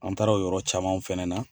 An taara o yɔrɔ camanw fɛnɛ na.